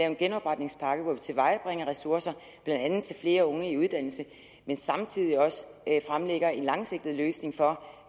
en genopretningspakke hvor vi tilvejebringer ressourcer blandt andet til flere unge i uddannelse men samtidig også fremlægger en langsigtet løsning for